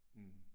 Mh